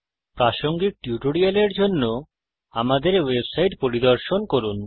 প্রাসঙ্গিক টিউটোরিয়ালের জন্য আমাদের ওয়েবসাইট httpspoken tutorialorg পরিদর্শন করুন